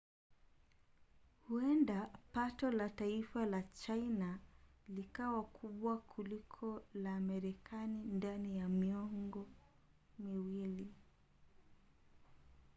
huenda pato la taifa la china likawa kubwa kuliko la marekani ndani ya miongo miwili